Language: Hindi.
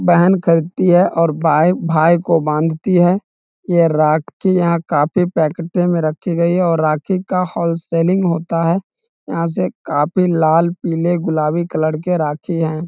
बहन खरीदती है और भाई भाई को बांधती है ये राखियां काफी पैकेटे में रखी गई है और राखी का होलसेलिंग होता है यहाँ से काफी लाल पीले गुलाबी कलर के राखी है।